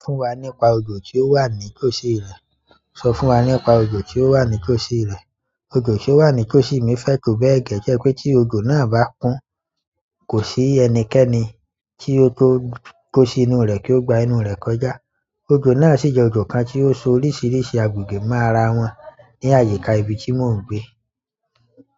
Sọ fún wa nípa odò tí ó wà ní kòóṣí rẹ. Odò tí ó wà ní tòsí mi fẹ́ tó bẹ́ẹ̀ gẹ́gẹ́ pé tí odò náà bá kún, kò sí ẹnikẹ́ni tí yóò tó kó sí inú rẹ̀ kí ó gba inú rẹ̀ kọjá. Ojo náà sì jẹ́ ojo kan tí ó so oríṣiríṣi agbègbè mọ́ ara wọn ní àyíká ibi tí mò ń gbé.